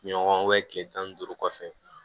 Ɲɔgɔn kile tan ni duuru kɔfɛ